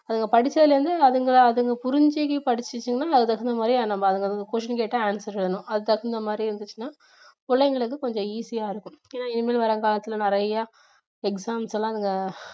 அதுங்க படிச்சதுலருந்து அதுங்க அதுங்க புரிஞ்சு படிச்சிச்சுங்கன்னா அதுக்கு தகுந்த மாதிரி நம்ம அதுங்களுக்கு question கேட்டா answer சொல்லணும் அதுக்கு தகுந்த மாதிரி இருந்துச்சுன்னா பிள்ளைங்களுக்கு கொஞ்சம் easy யா இருக்கும் ஏன்னா இனிமேல் வர்ற காலத்துல நிறைய exams எல்லாம் அதுங்க